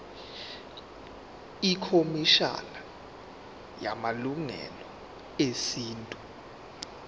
ikhomishana yamalungelo esintu